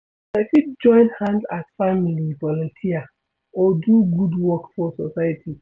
Una fit join hand as family volunteer or do good work for society